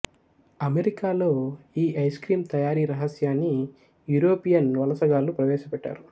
అమెరికాలో ఈ ice cream తయారీ రహస్యాన్ని యూరోపియన్ వలసగాళ్ళు ప్రవేశపెట్టారు